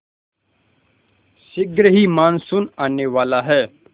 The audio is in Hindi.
शीघ्र ही मानसून आने वाला है